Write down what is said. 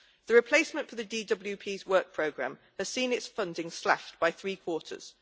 The replacement for the DWP's work program has seen its funding slashed by three quarters.